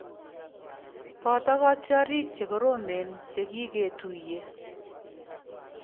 "Boto kotiorik che koromen che kiketuiye"